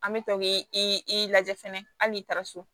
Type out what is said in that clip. An bɛ tɔ k'i i lajɛ fɛnɛ hali i taara so